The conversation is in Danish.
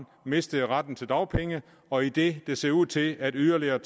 mistede retten til dagpenge og idet det ser ud til at yderligere